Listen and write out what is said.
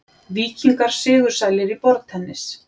Víkingar sigursælir í borðtennis